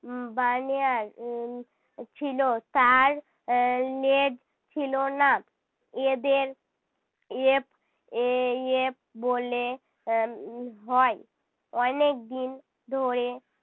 উহ বানএয়ার উহ ছিল তার আহ লেজ ছিল না। এদের ape এ~ ape বলে এর হয়। অনেকদিন ধরে